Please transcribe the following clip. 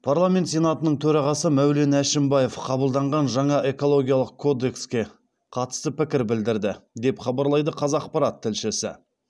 парламент сенатының төрағасы мәулен әшімбаев қабылданған жаңа экологиялық кодекске қатысты пікір білдірді деп хабарлайды қазақпарат тілшісі